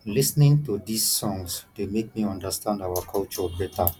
lis ten ing to these songs dey make me understand our culture beta